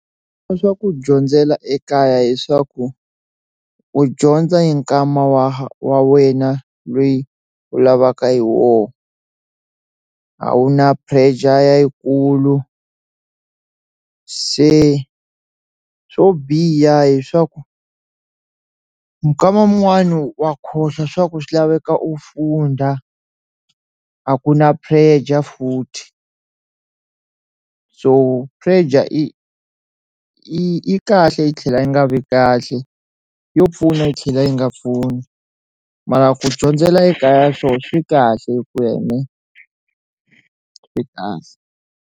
Swa ku dyondzela ekaya hi swaku u dyondza yi nkama wa wa wena loyi u lavaka hi wona a wu na pressure yikulu se swo biha hi swaku mukama un'wani wa khohlwa swa ku swi laveka u funda a ku na pressure futhi so pressure i yi kahle yi tlhela yi nga vi kahle yo pfuna yi tlhela yi nga pfuni mara ku dyondzela ekaya swoho swi kahle .